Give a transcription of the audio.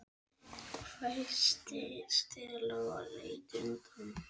hvæsti Stella og leit undan.